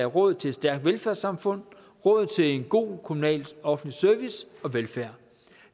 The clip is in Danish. råd til et stærkt velfærdssamfund og råd til en god kommunal offentlig service og velfærd